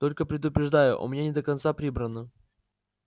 только предупреждаю у меня не до конца прибрано